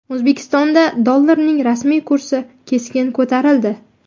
O‘zbekistonda dollarning rasmiy kursi keskin ko‘tarildi.